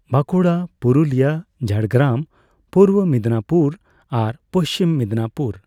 ᱵᱟᱸᱠᱩᱲᱟ, ᱯᱩᱨᱩᱞᱤᱭᱟᱹ, ᱡᱷᱟᱲᱜᱨᱟᱢ, ᱯᱩᱨᱵᱚ ᱢᱤᱫᱱᱟᱯᱩᱨ, ᱟᱨ ᱯᱩᱪᱷᱤᱢ ᱢᱮᱫᱱᱟᱯᱩᱨ᱾